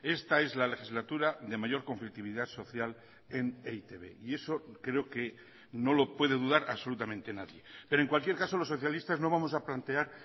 esta es la legislatura de mayor conflictividad social en e i te be y eso creo que no lo puede dudar absolutamente nadie pero en cualquier caso los socialistas no vamos a plantear